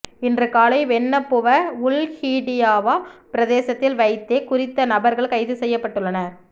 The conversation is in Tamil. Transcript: இன்று காலை வென்னப்புவ உள்ஹிடியவா பிரதேசத்தில் வைத்தே குறித்த நபர்கள் கைது செய்யப்பட்டுள்ளனர்